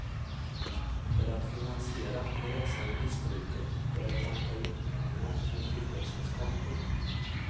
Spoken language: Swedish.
För att finansiera det växande missbruket började han ta ut pengar från stiftelsens konto.